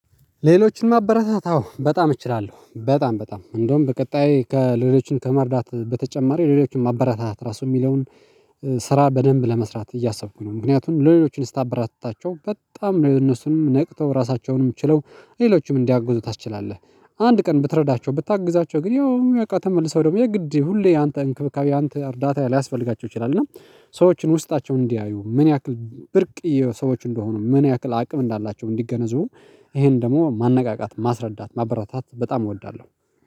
ሌሎችን ማበረታት አዎ በጣም እችላለሁ በጣም በጣም እንደውም በቀጣይ ከሌሎችን ከመርዳት በተጨማሪ ሌሎችን ማበራታት ራሱ የሚለውን ስራ በደንብ ለመስራት እያሰብኩ ነው ምክንያቱም ለሌሎችን ስታበረታታቸው በጣም ነው እነሱንም ነቅተው ራሳቸውንም ችለው ሌሎችም እንዲያግዙ ታስችላለህ። አንድ ቀን ብትረዳቸው ብታግዛቸው ግን ያው በቃ ተመልሰው ደግሞ የግድ ሁሌ ያንተ እንክብካቤ ያንተ እርዳታ ሊያስፈልጋቸው ይችላል። እና ሰዎችን ውስጣቸውን እንዲያዩ ምን ያክል ብርቅዬ ሰዎች እንደሆኑ ምን ያክል አቅም እንዳላቸው እንዲገነዘቡ። ይሄን ደግሞ ማነቃቃት ማስረዳት ማበረታታት በጣም እወዳለሁ